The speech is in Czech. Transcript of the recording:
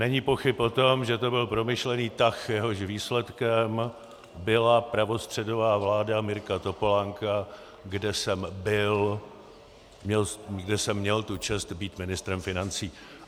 Není pochyb o tom, že to byl promyšlený tah, jehož výsledkem byla pravostředová vláda Mirka Topolánka, kde jsem měl tu čest být ministrem financí.